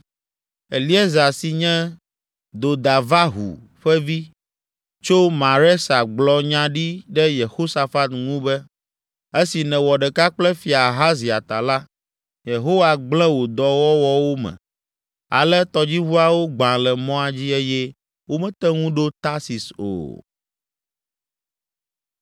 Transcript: Eliezer si nye Dodavahu ƒe vi, tso Maresa gblɔ nya ɖi ɖe Yehosafat ŋu be, “Esi nèwɔ ɖeka kple Fia Ahazia ta la, Yehowa gblẽ wò dɔwɔwɔwo me.” Ale tɔdziʋuawo gbã le mɔa dzi eye womete ŋu ɖo Tarsis o.